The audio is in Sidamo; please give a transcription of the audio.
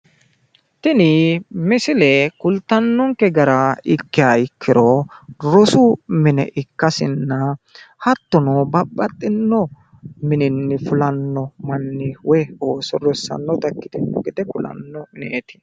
tini misile kultannonke gara ikkiha ikkiro rosu mine ikkasinna hattono babxino mininni fulanno manni woyi ooso rossannota ikkitino gede kulanno mineeti'